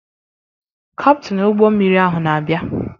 Kaptin ụgbọ mmiri ahụ na-abịa.